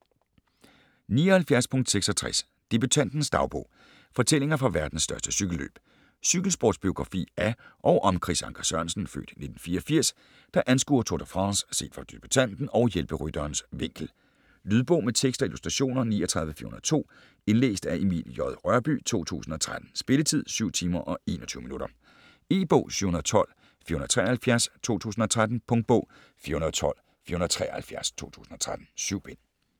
79.66 Debutantens dagbog: fortællinger fra verdens største cykelløb Cykelsportsbiografi af og om Chris Anker Sørensen (f. 1984), der anskuer Tour de France set fra debutanten og hjælperytterens vinkel. Lydbog med tekst og illustrationer 39402 Indlæst af Emil J. Rørbye, 2013. Spilletid: 7 timer, 21 minutter. E-bog 712473 2013. Punktbog 412473 2013. 7 bind.